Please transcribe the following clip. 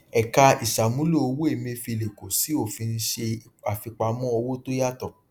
ẹka ìṣàmúlò owó emefiele kó sí òfin ṣe àfipamọ owó tó yàtọ